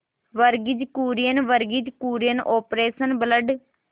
Verghese Kurien Verghese Kurien operation blood